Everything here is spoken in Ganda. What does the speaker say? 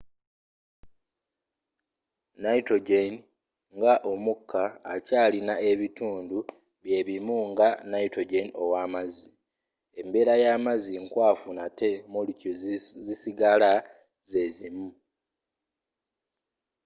nitrogen nga omukka akyalina ebintu byebimu nga nitrogen ow'amazzi embeera y'amazzi nkwafu nate molecules zisigala ze zimu